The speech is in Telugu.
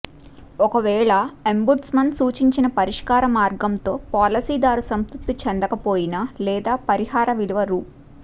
ఒకవేళ అంబుడ్స్మన్ సూచించిన పరిష్కార మార్గంతో పాలసీదారు సంతృప్తి చెందకపోయినా లేదా పరిహార విలువ రూ